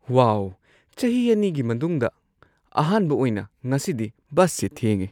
ꯋꯥꯎ, ꯆꯍꯤ ꯲ꯒꯤ ꯃꯅꯨꯡꯗ ꯑꯍꯥꯟꯕ ꯑꯣꯏꯅ ꯉꯁꯤꯗꯤ ꯕꯁꯁꯤ ꯊꯦꯡꯉꯦ꯫